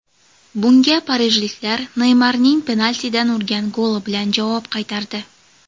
Bunga parijliklar Neymarning penaltidan urgan goli bilan javob qaytardi.